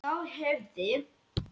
Þá hefði